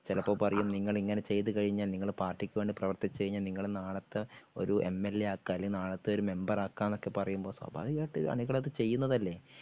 ചിലപ്പോ പറയും നിങ്ങള് ഇങ്ങനെ ചെയ്തുകഴിഞ്ഞാൽ നിങ്ങള് പാർട്ടിക്ക് വേണ്ടി പ്രവർത്തിച്ചു കഴിഞ്ഞാൽ നിങ്ങള് നാളത്തെ ഒരു എംഎൽഎ ആക്കാം അല്ലേൽ നാളത്തെ ഒരു മെമ്പറാക്കാം എന്നൊക്കെ പറയുമ്പോ സ്വാഭാവികമായിട്ട് അണികളത് ചെയ്യുന്നതല്ലേ